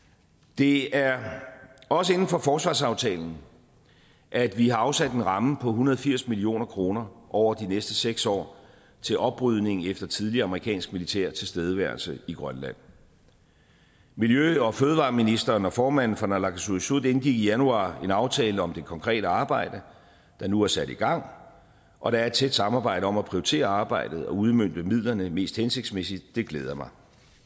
det er også inden for forsvarsaftalen at vi har afsat en ramme på en hundrede og firs million kroner over de næste seks år til oprydning efter tidligere amerikansk militær tilstedeværelse i grønland miljø og fødevareministeren og formanden for naalakkersuisut indgik i januar en aftale om det konkrete arbejde der nu er sat i gang og der er et tæt samarbejde om at prioritere arbejdet og udmønte midlerne mest hensigtsmæssigt det glæder mig